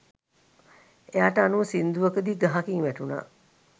එයාට අනුව සිංදුවකදි ගහකින් වැටුණා